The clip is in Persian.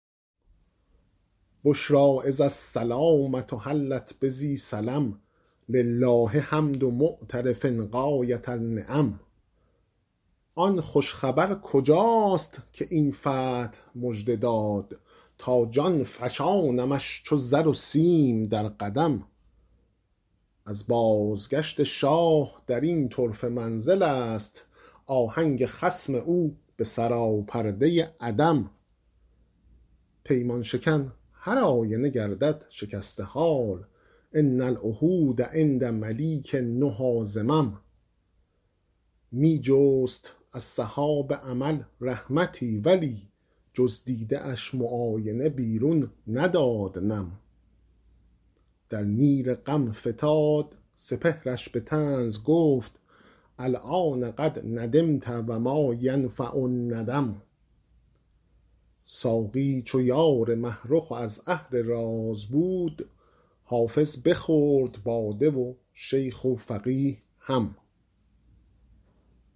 بشری اذ السلامة حلت بذی سلم لله حمد معترف غایة النعم آن خوش خبر کجاست که این فتح مژده داد تا جان فشانمش چو زر و سیم در قدم از بازگشت شاه در این طرفه منزل است آهنگ خصم او به سراپرده عدم پیمان شکن هرآینه گردد شکسته حال ان العهود عند ملیک النهی ذمم می جست از سحاب امل رحمتی ولی جز دیده اش معاینه بیرون نداد نم در نیل غم فتاد سپهرش به طنز گفت الآن قد ندمت و ما ینفع الندم ساقی چو یار مه رخ و از اهل راز بود حافظ بخورد باده و شیخ و فقیه هم